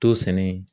To sɛnɛ